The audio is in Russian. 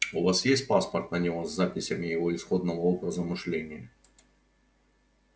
у вас есть паспорт на него с записями его исходного образа мышления